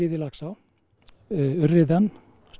í Laxá urriðann